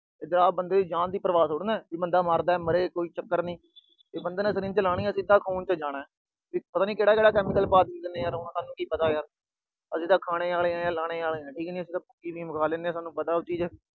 ਪੰਜਾਬ ਚ ਬੰਦੇ ਦੀ ਜਾਨ ਦੀ ਪਰਵਾਹ ਥੋੜੀ ਆ, ਵੀ ਬੰਦਾ ਮਰਦਾ ਮਰੇ, ਕੋਈ ਚੱਕਰ ਨੀ। ਬੰਦੇ ਨੇ syringe ਲਾਣੀ ਆ, ਸਿੱਧਾ ਖੂਨ ਚ ਜਾਣਾ। ਪਤਾ ਨੀ ਕਿਹੜਾ-ਕਿਹੜਾ chemical ਪਾ ਦਿੰਦੇ ਹੋਣਗੇ, ਹੁਣ ਸਾਨੂੰ ਕੀ ਪਤਾ। ਅਸੀਂ ਤਾਂ ਖਾਣੇ ਆਲੇ ਆ, ਲਾਣੇ ਆਲੇ ਆ, ਠੀਕ ਨੀ। ਅਸੀਂ ਭੁੱਕੀ, ਅਫੀਮ ਖਾ ਲੈਂਦੇ ਆ, ਸਾਨੂੰ ਪਤਾ ਉਹ ਚੀਜ।